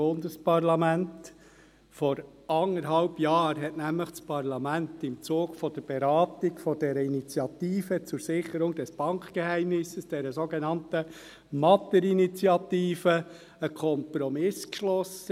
Vor anderthalb Jahren hat nämlich das Bundesparlament im Zuge der Beratung der Initiative zur Sicherung des Bankgeheimnisses, der sogenannten «Matter-Initiative», einen Kompromiss geschlossen.